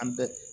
An bɛ